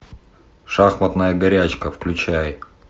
шахматная горячка включай